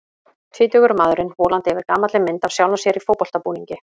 Tvítugur maðurinn volandi yfir gamalli mynd af sjálfum sér í fótboltabúningi.